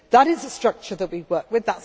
That is the structure that we work with.